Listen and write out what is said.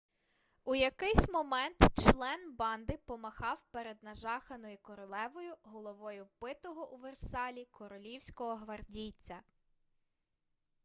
у якийсь момент член банди помахав перед нажаханою королевою головою вбитого у версалі королівського гвардійця